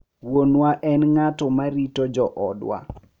Wuonwa en ng’at ma rito joodwa.